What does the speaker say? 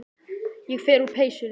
Ég fer úr peysunni.